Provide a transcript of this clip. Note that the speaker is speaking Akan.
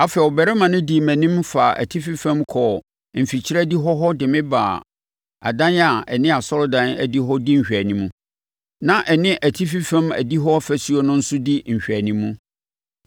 Afei, ɔbarima no dii mʼanim faa atifi fam kɔɔ mfikyire adihɔ hɔ de me baa adan a ɛne asɔredan adihɔ di nhwɛanim, na ɛne atifi fam adihɔ ɔfasuo no nso di nhweanim.